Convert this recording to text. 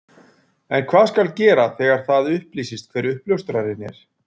En hvað skal gera þegar það upplýsist hver uppljóstrarinn er?